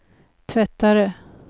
tvättare